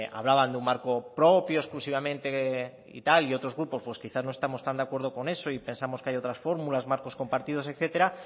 hablaban de un marco propio exclusivamente y tal y otros grupos pues quizás no estemos tan de acuerdo con eso y pensamos que hay otras fórmulas marcos compartidos etcétera